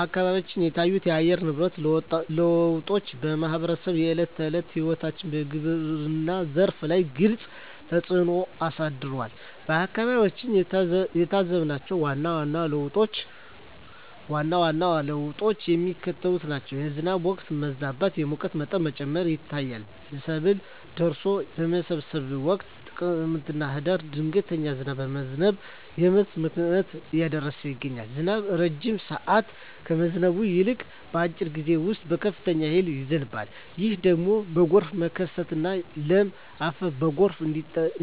አካባቢዎች የታዩት የአየር ንብረት ለውጦች በማኅበረሰቡ የዕለት ተዕለት ሕይወትና በግብርናው ዘርፍ ላይ ግልጽ ተፅእኖ አሳድረዋል። በአካባቢያችን የታዘብናቸው ዋና ዋና ለውጦች የሚከተሉት ናቸው፦ የዝናብ ወቅት መዛባት፣ የሙቀት መጠን መጨመር ይታያል። ሰብል ደርሶ በሚሰበሰብበት ወቅት (ጥቅምትና ህዳር) ድንገተኛ ዝናብ በመዝነብ የምርት ብክነትን እያደረሰ ይገኛል። ዝናቡ ረጅም ሰዓት ከመዝነብ ይልቅ፣ በአጭር ጊዜ ውስጥ በከፍተኛ ኃይል ይዘንባል። ይህ ደግሞ ለጎርፍ መከሰትና ለም አፈር በጎርፍ